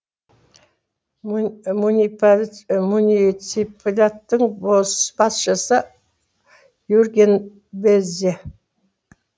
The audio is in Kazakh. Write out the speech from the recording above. муниципалитеттің басшысы юрген безе